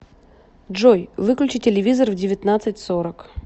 джой выключи телевизор в девятнадцать сорок